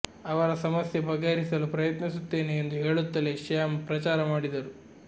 ಅವರ ಸಮಸ್ಯೆ ಬಗೆಹರಿಸಲು ಪ್ರಯತ್ನಿಸುತ್ತೇನೆ ಎಂದು ಹೇಳುತ್ತಲೇ ಶ್ಯಾಂ ಪ್ರಚಾರ ಮಾಡಿದ್ದರು